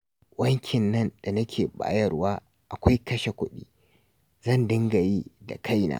Wankin nan da nake bayarwa akwai kashe kuɗi, zan dinga yi da kaina